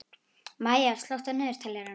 Maya, slökktu á niðurteljaranum.